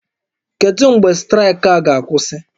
Kedu mgbe straịkị a ga-akwụsị?